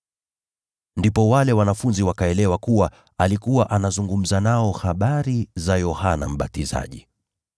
Ndipo wale wanafunzi wakaelewa kuwa alikuwa anazungumza nao habari za Yohana Mbatizaji.